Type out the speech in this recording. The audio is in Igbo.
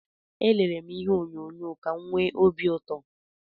Elere m ihe onyonyo ka m nwee obi ụtọ